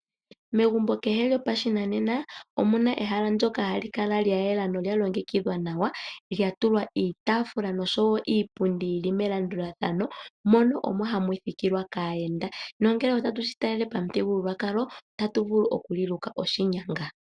Megumbo kehe lyopashinanena omuna ehala ndoka hali kala lyayela nolya longekidhwa nawa, lyatulwa iitaafula noshowo iipundi yili melandulathano mono omo hamu thikilwa kaayenda nongele otatu shi talele pamuthigululwakalo otatu vulu okuliluka oshinyanga.